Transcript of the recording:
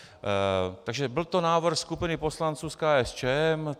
Takže byl to návrh skupiny poslanců z KSČM.